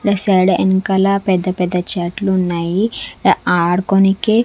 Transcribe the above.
resort ఎనకాల పెద్ద పెద్ద చెట్లు ఉన్నాయి ఆడుకోనికే--